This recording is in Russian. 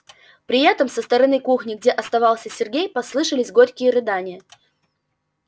при этом со стороны кухни где оставался сергей послышались горькие рыдания